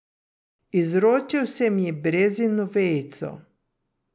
Izročil sem ji brezino vejico.